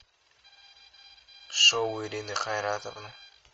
шоу ирины хайратовны